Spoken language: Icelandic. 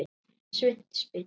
Sveinn spyr